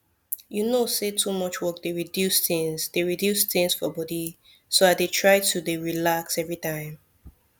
you know say too much work dey reduce things dey reduce things for body so i dey try to dey relax everytime